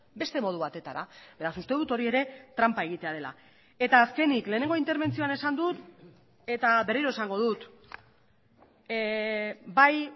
beste modu batetara beraz uste dut hori ere tranpa egitea dela eta azkenik lehenengo interbentzioan esan dut eta berriro esango dut bai